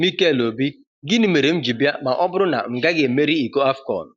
Mikel Obi: Gịnị mere m ji bịa ma ọ bụrụ na m gaghị emeri iko AFCON?